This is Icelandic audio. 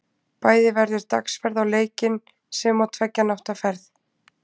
Bæði verður dagsferð á leikinn, sem og tveggja nátta ferð.